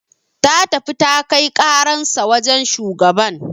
Ta tafi ta kai karansa wajan shugaban